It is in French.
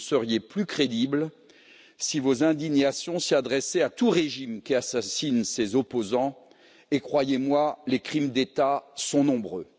Vous seriez plus crédibles si vos indignations s'adressaient à tout régime qui assassine ses opposants, et croyez moi, les crimes d'État sont nombreux.